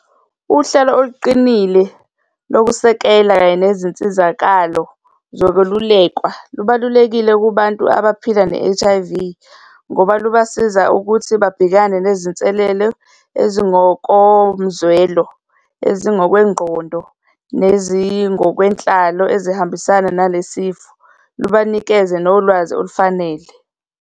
Uhlelo oluqinile lokusekela kanye nezinsizakalo zokwelulekwa lubalulekile kubantu abaphila ne-H_I_V ngoba lubasiza ukuthi babhekane nezinselelo ezingokomzwelo, ezingokwengqondo, nezingokwenhlalo ezihambisana nale sifo, lubanikeze nolwazi olufanele.